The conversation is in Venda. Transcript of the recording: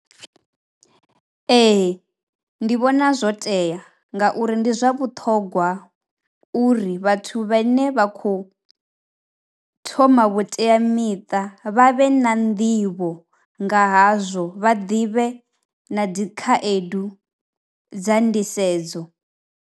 Ee ndi vhona zwo tea ngauri ndi zwa vhuṱhogwa uri vhathu vhene vha khou thoma vhuteamiṱa vha vhe na nḓivho nga hazwo vha ḓivhe na dzi khaedu dza ndisedzo.